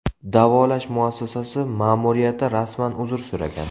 Davolash muassasasi ma’muriyati rasman uzr so‘ragan.